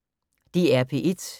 DR P1